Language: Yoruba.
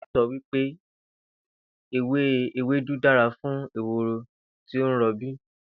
Ìyá Ìlò̩rí so̩ wí pé ewé ewédú dára fún ehoro tí ó ń ro̩bí